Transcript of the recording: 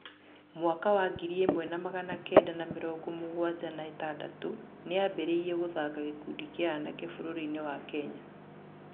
Mwaka wa ngiri ĩmwe na magana kenda na mĩrongo mũgwanja na ĩtandatũ nĩ aambĩrĩirie gũthaaka gĩkundi kĩa anake bũrũri-inĩ wa Kenya.